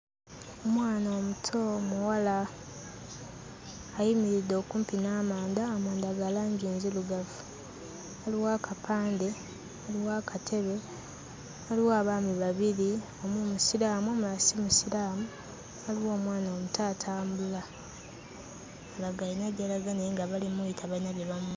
Omwana omuto omuwala ayimiridde okumpi n'amanda, amanda ga langi nzirugavu. Waliwo akapande, waliwo akatebe, waliwo abaami babiri: omu musiraamu omulala si musiraamu. Waliwo omwana omuto atambula alaga ayina gy'alaga naye nga bali mmuyita balina gye bamu...